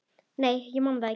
Nei, ég man það ekki.